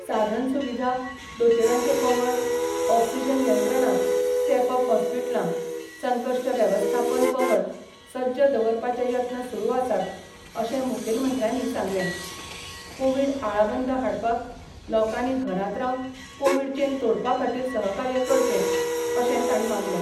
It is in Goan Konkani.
साधनसुविधा दोतेरांचे पंगड ऑक्सीजन यंत्रणा स्टेप अप होस्पिटला संकश्ट वेवस्थापन पंगड सज्ज दवरपाचे यत्न सुरू आसात अशे मुखेलमंत्र्यांनी सांगले कोविड आळाबंद हाडपाक लोकांनी घरात रावन कोविड चेन तोडपाखातीर सहकार्य करचें अशे ताणी मागले.